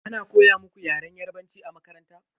Ana koya muku Yaren yarbanci a makaranta?